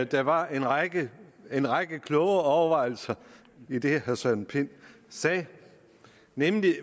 der var en række en række kloge overvejelser i det herre søren pind sagde nemlig